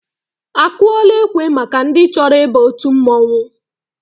Akụọla ekwe maka ndị chọrọ ịba òtù mmọnwụ?